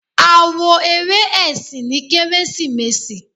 a wo eré esín ní keresimesi.